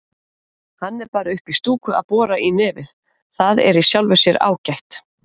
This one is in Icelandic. Hann er bara uppí stúku að bora í nefið, það er í sjálfu sér ágætt.